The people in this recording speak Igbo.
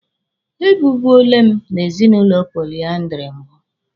E bibuole m n'ezinụlọ polyandry mbụ.